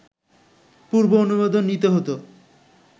পূর্ব অনুমোদন নিতে হতো